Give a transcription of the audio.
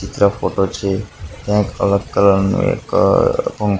ચિત્ર ફોટો છે ત્યાં એક અલગ કલર નુ એક--